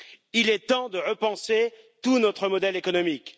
Il est temps de repenser tout notre modèle économique.